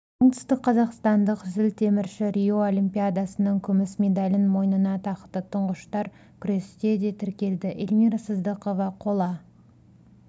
оңтүстікқазақстандық зілтемірші рио олимпиадасының күміс медалін мойынына тақты тұңғыштар күресте де тіркелді эльмира сыздықова қола